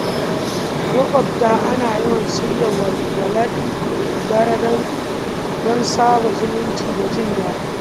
A makwabta, ana yawan shirya walwalar dare don sada zumunci da jin daɗi.